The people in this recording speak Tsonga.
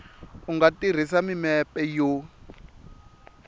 u nga tirhisa mimepe yo